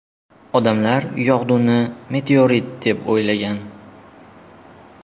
Odamlar yog‘duni meteorit deb o‘ylagan.